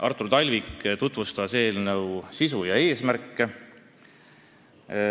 Artur Talvik tutvustas eelnõu sisu ja eesmärke.